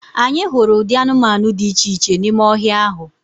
Anyị hụrụ ụdị anụmanụ dị iche iche n’ime ọhịa ahụ